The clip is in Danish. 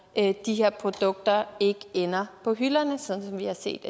at de her produkter ikke ender på hylderne sådan som vi har set